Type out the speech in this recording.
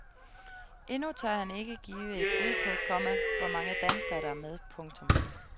Endnu tør han ikke give et bud på, komma hvor mange danskere der er med. punktum